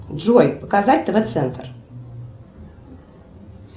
джой показать тв центр